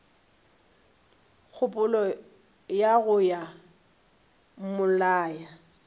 kgopolo ya go yo mmolaya